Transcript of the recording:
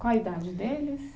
Qual a idade deles?